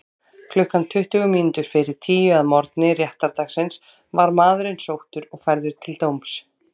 Klukkan tuttugu mínútur fyrir tíu að morgni réttardagsins var maðurinn sóttur og færður til dóms.